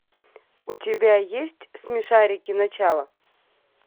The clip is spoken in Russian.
у тебя есть смешарики начало